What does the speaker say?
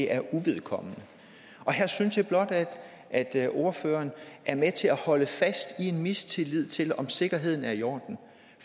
er uvedkommende og her synes jeg blot at at ordføreren er med til at holde fast i en mistillid til om sikkerheden er i orden